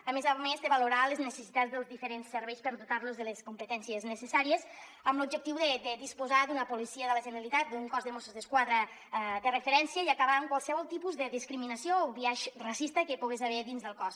a més de valorar les necessitats dels diferents serveis per dotar los de les competències necessàries amb l’objectiu de disposar d’una policia de la generalitat d’un cos de mossos d’esquadra de referència i acabar amb qualsevol tipus de discriminació o biaix racista que hi pogués haver dins del cos